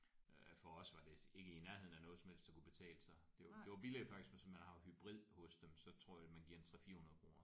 Øh for os var det ikke i nærheden af noget som helst der kunne betale sig det var det var billigere faktisk hvis man har hybrid hos dem så tror jeg man giver en 3 400 kroner